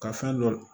Ka fɛn dɔ